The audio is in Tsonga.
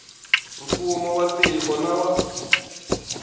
mfumo wa tiko na wa